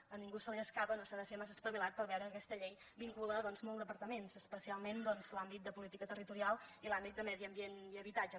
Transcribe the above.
a ningú no se li escapa no s’ha de ser massa espavilat per veure ho que aquesta llei vincula doncs molts departaments especialment l’àmbit de política territorial i l’àmbit de medi ambient i habitatge